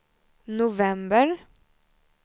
november